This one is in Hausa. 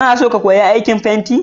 Kana son ka koyi aikin fenti?